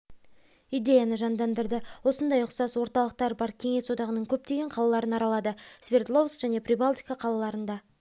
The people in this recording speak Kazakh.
идеяны жандандырды осындай ұқсас орталықтары бар кеңес одағының көптеген қалаларын аралады свердловск және прибалтика қалаларында